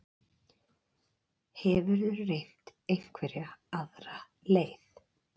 Hefurðu reynt einhverja aðra leið?